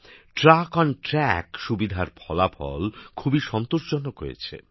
truck on track সুবিধার ফলাফল খুবই সন্তোষজনক হয়েছে